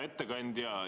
Hea ettekandja!